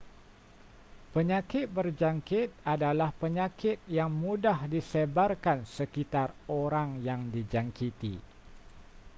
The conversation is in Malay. penyakit berjangkit adalah penyakit yang mudah disebarkan sekitar orang yang dijangkiti